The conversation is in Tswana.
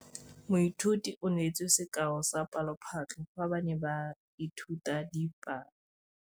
Moithuti o neetse sekaô sa palophatlo fa ba ne ba ithuta dipalo.